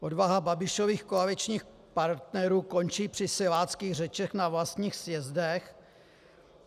Odvaha Babišových koaličních partnerů končí při siláckých řečech na vlastních sjezdech.